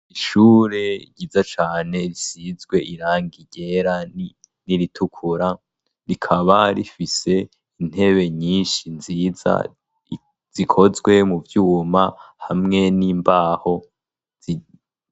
ishure ryiza cane risizwe irangi ryera n'iritukura rikaba rifise intebe nyinshi nziza zikozwe mu byuma hamwe n'imbaho zibiti.